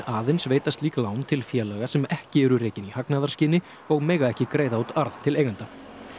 aðeins veita slík lán til félaga sem ekki eru rekin í hagnaðarskyni og mega ekki greiða út arð til eigenda